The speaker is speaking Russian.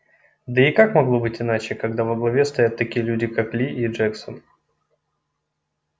да и как могло быть иначе когда во главе стоят такие люди как ли и джексон